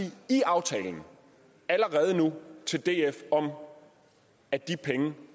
i aftalen allerede nu til df om at de penge